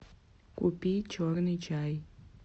купи черный чай